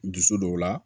Dusu dɔw la